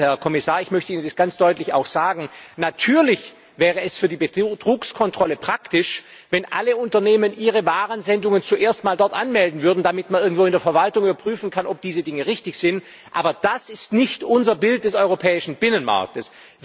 Herr Kommissar, ich möchte Ihnen das ganz deutlich auch sagen Natürlich wäre es für die Betrugskontrolle praktisch, wenn alle Unternehmen ihre Warensendungen zuerst einmal anmelden würden, damit man irgendwo in der Verwaltung überprüfen kann, ob diese Dinge richtig sind. Aber das ist nicht unser Bild des europäischen Binnenmarktes.